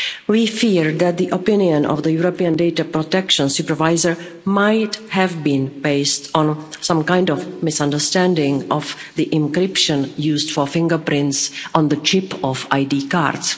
We fear that the opinion of the European Data Protection Supervisor might have been based on some kind of misunderstanding of the encryption used for fingerprints on the chip of ID cards.